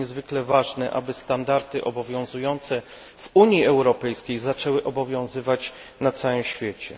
To niezwykle ważne, aby standardy obowiązujące w Unii Europejskiej zaczęły obowiązywać na całym świecie.